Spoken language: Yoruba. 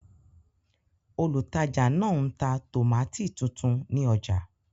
Olùtajà náà ń ta tòmátì tuntun ní ọjà.